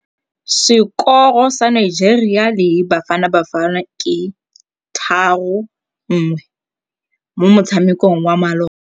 Sekôrô sa Nigeria le Bafanabafana ke 3-1 mo motshamekong wa malôba.